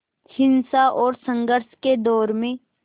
हिंसा और संघर्ष के दौर में